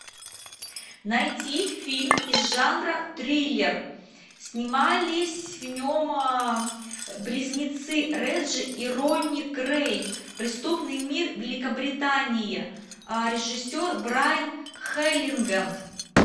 найти фильм из жанра триллер снимались в нем близнецы реджи и ронни крэй преступный мир великобритании режиссер брайан хелгеленд